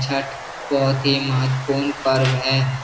छठ बहुत ही महत्वपूर्ण पर्व है